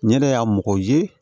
Ɲɛda y'a mɔgɔ ye